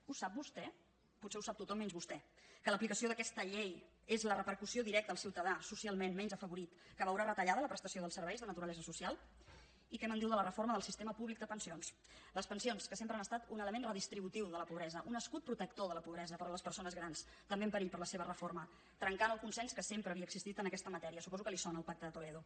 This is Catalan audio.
ho sap vostè potser ho sap tothom menys vostè que l’aplicació d’aquesta llei és la repercussió directa al ciutadà socialment menys afavorit que veurà retallada la prestació dels serveis de naturalesa social i què me’n diu de la reforma del sistema públic de pensions les pensions que sempre han estat un element redistributiu de la pobresa un escut protector de la pobresa per a les persones grans també en perill per la seva reforma que trenca el consens que sempre havia existit en aquesta matèria suposo que li sona el pacte de toledo